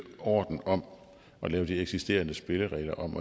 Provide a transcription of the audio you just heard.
orden om at lave de eksisterende spilleregler om